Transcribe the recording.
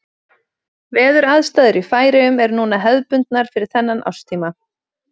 Veðuraðstæður í Færeyjum eru núna hefðbundnar fyrir þennan árstíma.